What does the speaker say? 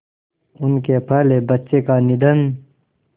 उनके पहले बच्चे का निधन